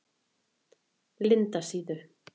Lindasíðu